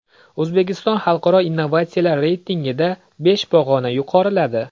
O‘zbekiston Xalqaro innovatsiyalar reytingida besh pog‘ona yuqoriladi.